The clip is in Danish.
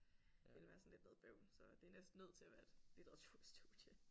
Ville være sådan lidt noget bøvl så det er næsten nødt til at være et litteraturstudie